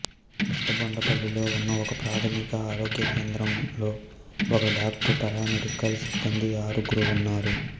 పెదబొండపల్లిలో ఉన్న ఒకప్రాథమిక ఆరోగ్య కేంద్రంలో ఒక డాక్టరు పారామెడికల్ సిబ్బంది ఆరుగురు ఉన్నారు